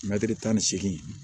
tan ni seegin